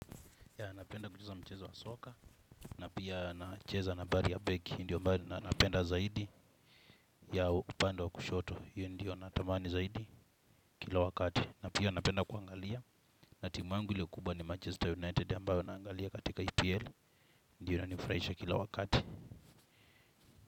Ya napenda kucheza mchezo wa soka na pia nacheza nambari ya begi ndio mbari napenda zaidi ya upande wa kushoto hio ndio natamani zaidi kila wakati. Na pia napenda kuangalia na timu yangu ile kubwa ni Manchester United ambayo naangalia katika EPL ndio inanifuraisha kila wakati.